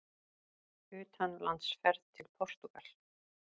UTANLANDSFERÐ TIL PORTÚGAL